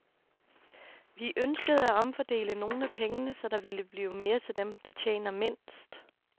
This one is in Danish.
Vi ønskede at omfordele nogle af pengene, så der ville blive mere til dem, der tjener mindst.